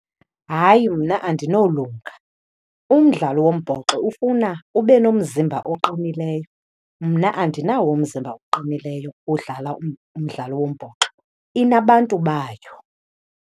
Hayi mna andinolunga. Umdlalo wombhoxo ufuna ube nomzimba oqinileyo, mna andinawo umzimba oqinileyo wodlala umdlalo wombhoxo. Inabantu bayo.